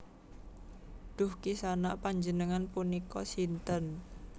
Duh Ki Sanak panjenengan punika sinten